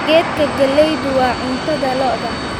Geedka galleydu waa cunnada lo'da